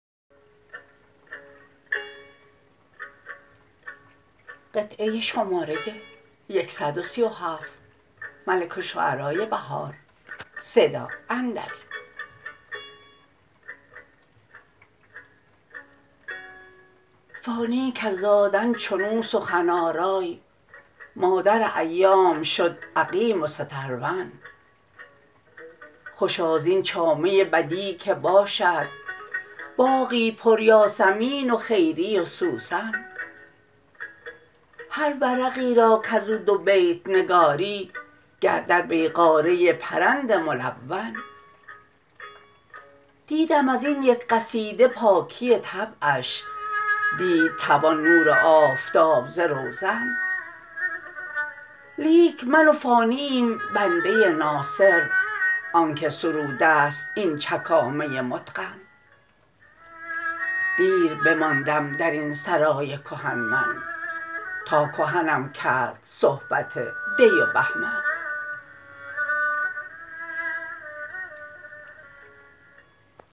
فانی کز زادن چنو سخن آرای مادر ایام شد عقیم و سترون خوشا زین چامه بدیع که باشد باغی پر یاسمین و خیری و سوسن هر ورقی را کزو دو بیت نگاری گردد بیغاره پرند ملون دیدم ازین یک قصیده پاکی طبعش دید توان نور آفتاب ز روزن لیک من و فانی ایم بنده ناصر آنکه سروده است این چکامه متقن دیر بماندم در این سرای کهن من تا کهنم کرد صحبت دی و بهمن